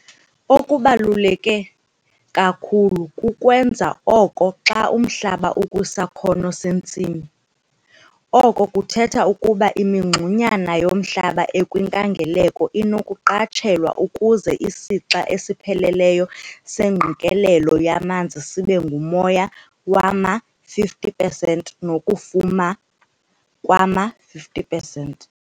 Okubaluleke kakhulu kukukwenza oko xa umhlaba ukwisakhono sentsimi, oko kuthetha ukuba imingxunyana yomhlaba ekwinkangeleko inokuqatshelwa ukuze isixa esipheleleyo sengqikelelo yamanzi sibe ngumoya wama-50 pesenti nokufuma kwama-50 pesenti.